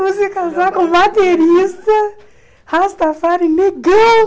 Você casar com baterista, Rastafari, negão.